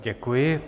Děkuji.